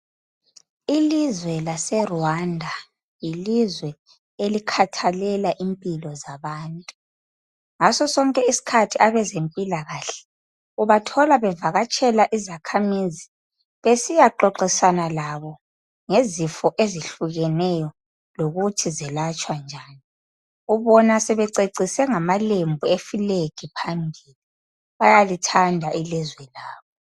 Ilizwe laseRwanda yilizwe elikhathalela impilo zabantu. Ngaso sonke isikhathi abezempilakahle ubathola bevakatshela izakhamizi besiyaxoxisana labo ngezifo ezihlukeneyo lokuthi zelatshwa njani. Ubona sebececise ngamalembu efulegi phambili. Bayalithanda ilizwe labo.